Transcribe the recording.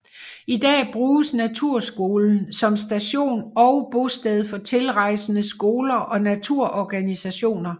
I dag bruges Naturskolen som station og bosted for tilrejsende skoler og naturorganisationer